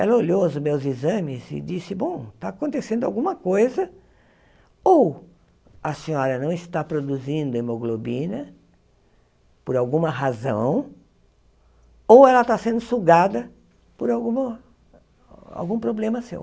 Ela olhou os meus exames e disse, bom, está acontecendo alguma coisa, ou a senhora não está produzindo hemoglobina por alguma razão, ou ela está sendo sugada por alguma algum problema seu.